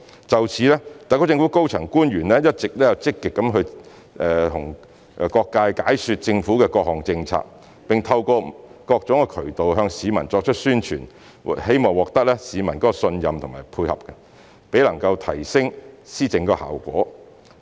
就此，特區政府高層官員一直積極向各界解說政府的各項政策，並透過各種渠道向市民作出宣傳，希望獲得市民的信任和配合，提升施政效果。